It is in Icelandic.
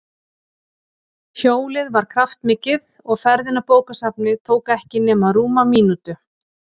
Hjólið var kraftmikið og ferðin á bókasafnið tók ekki nema rúma mínútu.